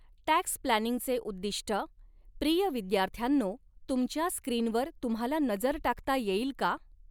Tax प्लॅनिंगचे उद्दीष्टः प्रिय विद्यार्थ्यांनो तुमच्या स्क्रीनवर तुम्हाला नजर टाकता येईल का?